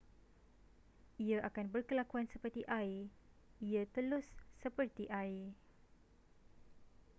ia akan berkelakuan seperti air ia telus seperti air